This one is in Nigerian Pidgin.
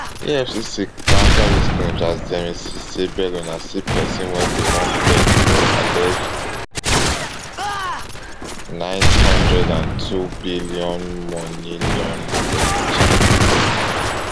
efcc counter these claims as dem insist say bello na still pesin wey dey wanted for alleged neight hundred and twobillion money laundering charges